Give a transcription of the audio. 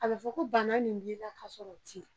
A be fɔ ko bana min b' i la ka sɔrɔ o ti la.